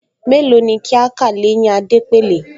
Mélòó ni kí á kà l’éyín Adépèlé?